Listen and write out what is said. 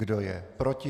Kdo je proti?